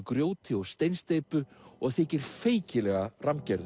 grjóti og steinsteypu og þykir feikilega